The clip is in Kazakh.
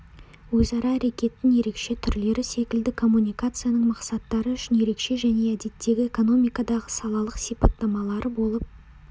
өзара әрекеттің ерекше түрлері секілді коммуникацияның мақсаттары үшін ерекше және әдеттегі экономикадағы салалық сипаттамалары болып